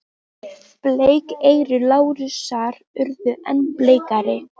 Bleik eyru Lárusar urðu enn bleikari.